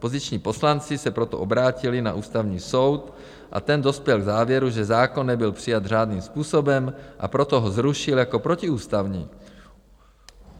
Opoziční poslanci se proto obrátili na Ústavní soud a ten dospěl k závěru, že zákon nebyl přijat řádným způsobem, a proto ho zrušil jako protiústavní.